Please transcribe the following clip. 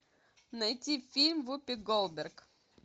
найти фильм вупи голдберг